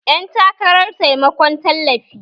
Yan takarar taimakon tallafi